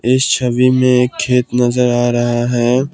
इस छवि में एक खेत नजर आ रहा है।